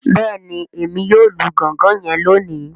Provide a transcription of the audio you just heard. Bẹẹni, Èmí yóò lù gangan yen loni